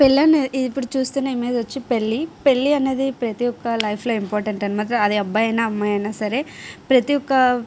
పెళ్లి అనేది ఇప్పుడు చూస్తున్న ఇమేజ్ వచ్చేసి పెళ్లి. పెళ్లి అన్నది ప్రతి ఒకరి లైఫ్ లో ఇంపార్టంట్ అన్నమాట అది ఒక అబ్బాయి అయిన అమ్మాయి అయిన సరే ప్రతిఒక్క --